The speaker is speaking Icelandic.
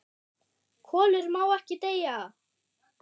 KOLUR MÁ EKKI DEYJA